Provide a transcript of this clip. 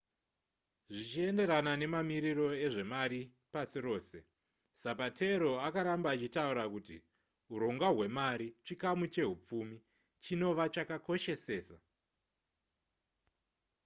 zvichienderana mamiriro ezvemari pasi rose zapatero akaramba achitaura kuti hurongwa hwemari chikamu chehupfumi chinova chakakoshesesa